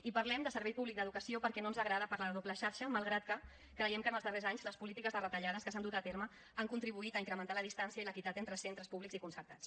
i parlem de servei públic d’educació perquè no ens agrada parlar de doble xarxa malgrat que creiem que en els darrers anys les polítiques de retallades que s’han dut a terme han contribuït a incrementar la distància i l’equitat entre centres públics i concertats